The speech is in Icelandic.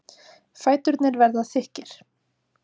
Fæturnir verða þykkir.